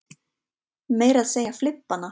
Meira að segja flibbana.